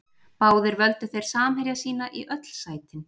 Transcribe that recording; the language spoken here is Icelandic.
Báðir völdu þeir samherja sína í öll sætin.